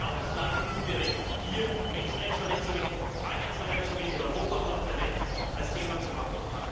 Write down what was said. Wir haben genau das gleiche gute Recht, hier Menschenrechtsverletzungen, Freiheitsverletzungen in Europa und auf der Welt zum Thema zu machen!